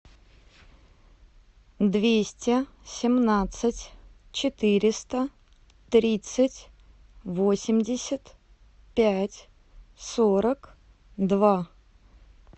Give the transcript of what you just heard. двести семнадцать четыреста тридцать восемьдесят пять сорок два